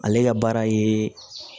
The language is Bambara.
Ale ka baara ye